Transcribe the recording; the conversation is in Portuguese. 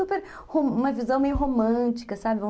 Super, uma visão meio romântica, sabe?